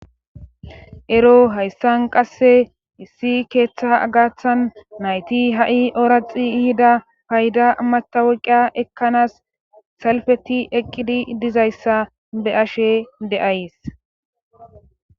ero hayssan qasse issi keeththa agathan nayti ha7i oraxi ihida payda mataweqia ekkanaas salfeti eqqidi dizayssa be ashe de7ays